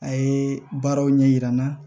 A ye baaraw ɲɛ yira n na